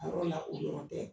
A yɔrɔ na uɔrɔn tɛ